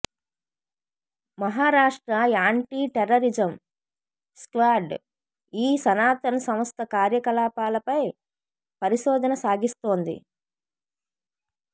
Maharashtra anti terrorism squad ఈ సనాతన్ సంస్థ కార్యకలాపాలపై పరిశోధన సాగిస్తోంది